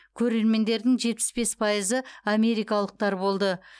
көрермендердің жетпіс бес пайызы америкалықтар болды